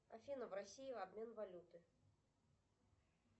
афина в россии обмен валюты